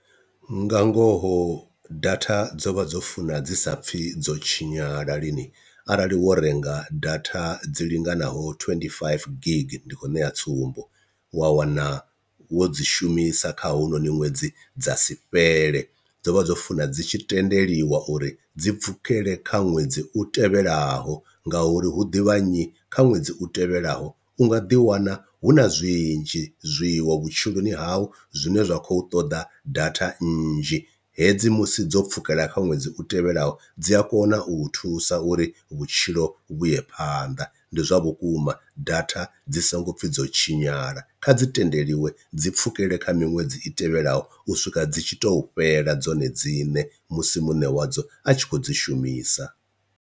Nga ngoho data dzo vha dzo funa dzi sa pfhi dzo tshinyala lini arali wo renga data dzi linganaho twenty five gig ndi khou ṋea tsumbo, wa wana wo dzi shumisa kha hounoni ṅwedzi dza si fhele dzo vha dzo funa dzi tshi tendeliwa uri dzi pfukele kha ṅwedzi u tevhelaho ngauri hu ḓivha nnyi kha ṅwedzi u tevhelaho u nga ḓi wana hu na zwinzhi zwiṅwe vhutshiloni hau zwine zwa khou ṱoḓa data nnzhi, hedzi musi dzo pfhukela kha ṅwedzi u tevhelaho dzi a kona u thusa uri vhutshilo vhuye phanḓa, ndi zwa vhukuma data dzi songo pfhi dzo tshinyala kha dzi tendeliwe dzi pfhukele kha miṅwedzi i tevhelaho u swika dzi tshi tou fhela dzone dziṋe musi muṋe wadzo a tshi khou dzi shumisa.